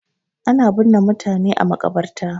Ana binne mutane a maƙabarta.